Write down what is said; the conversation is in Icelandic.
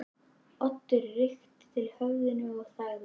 Oddur rykkti til höfðinu og þagði.